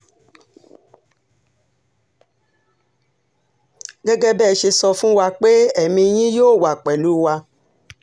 gẹ́gẹ́ bẹ́ ẹ ṣe sọ fún wa pé ẹ̀mí yín yóò wà pẹ̀lú wa